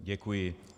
Děkuji.